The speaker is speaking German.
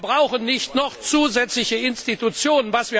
Wir brauchen nicht noch zusätzliche Institutionen.